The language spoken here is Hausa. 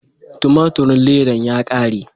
Tumaturin ledan ya kare.